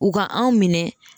U ka anw minɛ